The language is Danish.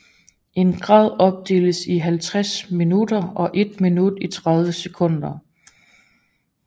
En grad opdeles i 60 minutter og et minut i 60 sekunder